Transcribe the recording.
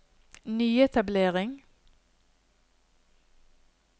nyetablering